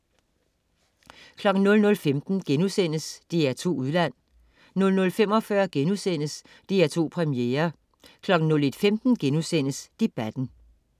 00.15 DR2 Udland* 00.45 DR2 Premiere* 01.15 Debatten*